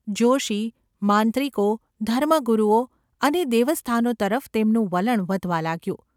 જોષી, માંત્રિકો, ધર્મગુરુઓ અને દેવસ્થાનો તરફ તેમનું વલણ વધવા લાગ્યું.